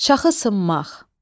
Şaxı sınmaq.